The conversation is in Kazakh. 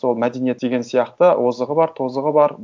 сол мәдениет деген сияқты озығы бар тозығы бар